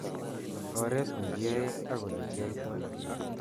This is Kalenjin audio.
Oret ne kiae ak olekioitoi.